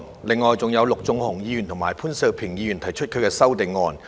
另外，還有陸頌雄議員和潘兆平議員提出了修正案。